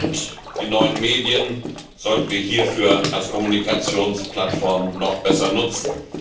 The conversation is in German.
Und die neuen Medien sollten wir hierfür als Kommunikationsplattform noch besser nutzen.